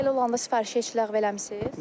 Elə olanda sifarişi heç ləğv eləmisiniz?